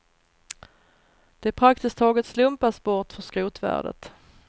De praktiskt taget slumpas bort för skrotvärdet.